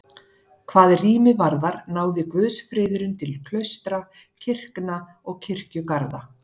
Hvað rými varðar náði guðsfriðurinn til klaustra, kirkna og kirkjugarða.